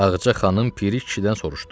Ağca xanım Piri kişidən soruşdu: